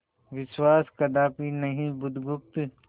विश्वास कदापि नहीं बुधगुप्त